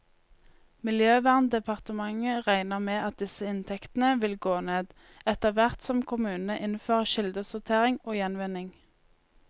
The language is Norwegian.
Miljøverndepartementet regner med at disse inntektene vil gå ned, etterhvert som kommunene innfører kildesortering og gjenvinning.